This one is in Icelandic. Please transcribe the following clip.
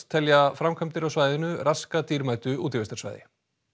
telja framkvæmdir á svæðinu raska dýrmætu útivistarsvæði